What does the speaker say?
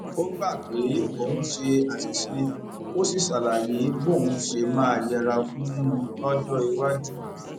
ó gbà pé òun ṣe àṣìṣe ó sì ṣàlàyé bóun ṣe máa yẹra fún un lójó iwájú